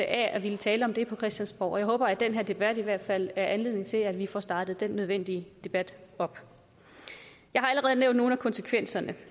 at ville tale om det på christiansborg og jeg håber at den her debat i hvert fald er anledning til at vi får startet den nødvendige debat op jeg har allerede nævnt nogle af konsekvenserne